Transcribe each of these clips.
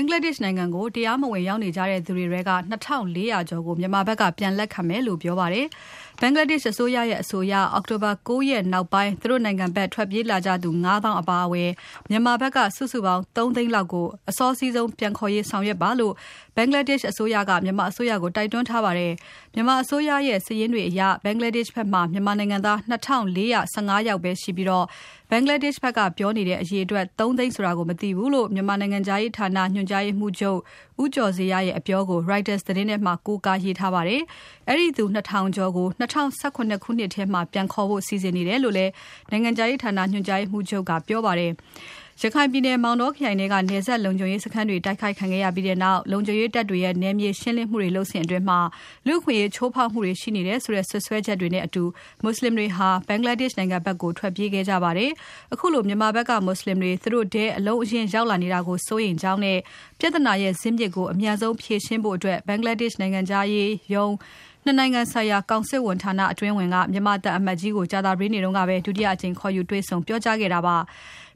င်္ဂလားဒေရှ့်နိုင်ငံကို တရားမဝင်ရောက်နေကြတဲ့ သူတွေထဲ့ နှစ် ထောင့်လေး ရာကျော်ကို မြန်မာဘက်ကပြန်လက်ခံမယ်လို့ ပြောပါတယ်။ ဘင်္ဂလားဒေရှ့်အစိုးရရဲ့ အဆိုအရ အောက်တိုဘာ ၉ ရက်နောက်ပိုင်း သူတို့နိုင်ငံဘက် ထွက်ပြေးလာကြ ၅ သောင်းလောက် အပါအဝင် မြန်မာဘက်က ၃ သိန်းလောက်ကို အစောစီးဆုံးပြန်ခေါ်ရေးဆောင်ရွက်ပါလို့ ဘင်္ဂလားဒေရှ့်အစိုးရက မြန်မာအစိုးရကို တိုက်တွန်းထားပါတယ်။ မြန်မာအစိုးရရဲ့ စာရင်းတွေအရ ဘင်္ဂလားဒေရှ့်ဘက် မှာ မြန်မာနိုင်ငံ သား နှစ် ထောင့် ၄ ရာ ၁၅ ယောက်ပဲရှိပြီး ဘင်္ဂလားဒေရှ့်ဘက်ကပြောနေတဲ့ အရေအတွက် ၃ သိန်း ဆိုတာကို မသိဘူးလို့ မြန်မာနိုင်ငံခြားရေးဌာန ညွှန်ကြားရေးမှူးချုပ် ဦးကျော်ဇေယျရဲ့ အပြောကို Reuters သတင်းထဲမှာ ကိုးကားရေးထားပါတယ်။ အဲဒီသူ ၂ ထောင်ကျော်ကို ၂၀၁၇ ခုနှစ်ထဲမှာ ပြန်ခေါ်ဖို့ စီစဉ်နေတယ် လို့လည်း နိုင်ငံခြားရေးဌာန ညွှန်ကြားရေးမှူးချုပ် ဦးကျော်ဇေယျကပြောပါတယ်။ ရခိုင်ပြည်နယ် မောင်တောခရိုင်ထဲက နယ်စပ်လုံခြုံရေးစခန်းတွေ တိုက်ခိုက်ခံခဲ့ရပြီးနောက် လုံခြုံရေးတပ်တွေရဲ့ နယ်မြေရှင်းလင်းမှုတွေ လုပ်စဉ်အတွင်း လူ့အခွင့်အရေးချိုးဖောက်မှုတွေရှိတယ်ဆိုတဲ့ စွပ်စွဲချက်တွေနဲ့အတူ မွတ်ဆလင်တွေ ဘင်္ဂလားဒေရှ့်နိုင်ငံဘက်ကို ထွက်ပြေးခဲ့ကြပါတယ်။ ခုလို မြန်မာဖက်က မွတ်ဆလင်တွေ သူတို့နိုင်ငံထဲ အလုံးအရင်း ရောက် လာနေတာကို စိုးရိမ်ကြောင်းနဲ့ ပြဿနာရဲ့ ဇစ်မြစ်ကို အမြန်ဆုံးဖြေရှင်းဖို့ ဘင်္ဂလားဒေရှ့်နိုင်ငံခြားရေးရုံး ၂ နိုင်ငံဆိုင်ရာကောင်စစ်ဝန်ဌာန အတွင်းဝန်က မြန်မာသံအမတ်ကြီးကို ကြာသပတေးနေ့က ဒုတိယအကြိမ် ခေါ်ယူတွေ့ဆုံပြောကြားခဲ့တာပါ။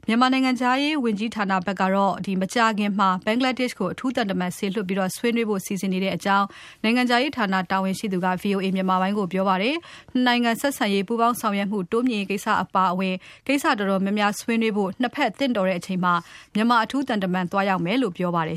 မြန်မာနိုင်ငံခြားရေးဝန်ကြီးဌာနဘက်ကတော့ မကြာခင်မှာ ဘင်္ဂလားဒေရှ့်ကို အထူး သံတမန်စေလွှတ်ပြီး ဆွေးနွေးဖို့ စီစဉ်နေတဲ့အကြောင်း နိုင်ငံခြားရေးဌာန တာဝန်ရှိသူက VOA မြန်မာပိုင်းကိုပြောပါတယ်။ ၂ နိုင်ငံဆက်ဆံရေး၊ ပူးပေါင်းဆောင်ရွက်မှု တိုးမြှင့်ရေးကိစ္စတွေအပါအဝင် ကိစ္စတော်တော် များများဆွေးနွေးဖို့ ၂ ဘက်သင့်တော်တဲ့ အချိန်မှာ မြန်မာ အထူးသံတမန်သွားရောက်မယ်လို့ ပြောပါတယ်